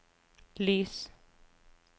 lys